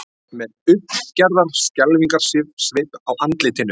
Með uppgerðar skelfingarsvip á andlitinu.